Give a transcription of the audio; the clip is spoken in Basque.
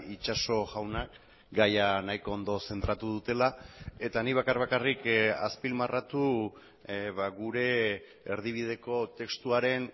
itxaso jaunak gaia nahiko ondo zentratu dutela eta nik bakar bakarrik azpimarratu gure erdibideko testuaren